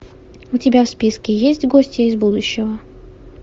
у тебя в списке есть гостья из будущего